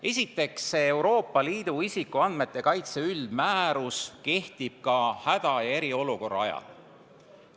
Esiteks, Euroopa Liidu isikuandmete kaitse üldmäärus kehtib ka häda- ja eriolukorra ajal.